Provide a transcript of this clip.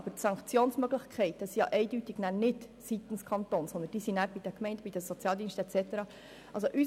Allerdings sind die Sanktionsmöglichkeiten dann eindeutig nicht beim Kanton, sondern bei den Gemeinden, den Sozialdiensten und so weiter.